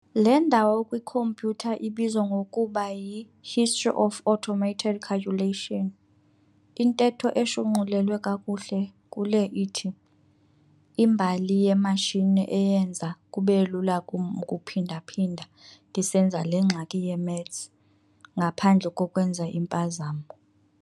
Le ndawo kwi-compyutha ibizwa ngokuba y"i-history of automated calculation," intetho eshunqulelwe kakuhle kule ithi "imbali yeematshini eyenza kubelula kum ukuphinda-phinda ndisenza lengxaki ye-maths ngaphandle kokwenza iimpazamo."